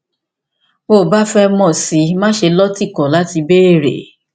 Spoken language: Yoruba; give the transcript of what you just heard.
tó o bá fẹ mọ sí i má ṣe lọtìkọ láti béèrè